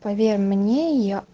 поверь мне я